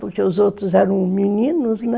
Porque os outros eram meninos, né?